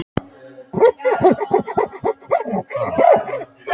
Jón Bernódusson, verkfræðingur á Siglingastofnun: Af hverju ekki?